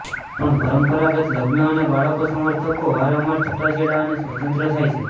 પણ પરંપરાગત લગ્ન અને બાળકો સમર્થકો વારંવાર છૂટાછેડા અને સ્વતંત્ર થાય છે